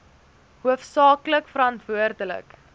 hoofsaak lik verantwoordelik